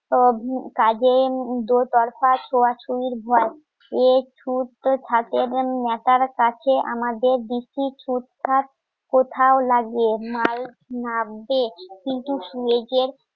কাজে দোতফাত ছোঁয়াছুঁয়ির ভয় এ ছুটতে থাকে. এবং নেশার কাছে আমাদের বেশি কোথাও লাগে মাস্ক নাবতে